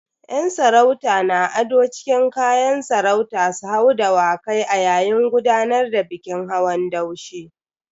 Yan sarauta na ado cikin kayan sarauta su hau Dawakai a yayin gudanar da bikin hawan daushe.